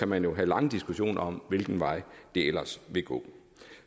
man jo have lange diskussioner om hvilken vej det ellers vil gå